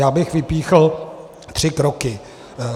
Já bych vypíchl tři kroky.